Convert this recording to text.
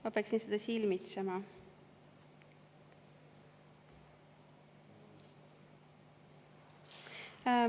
Ma peaksin seda silmitsema.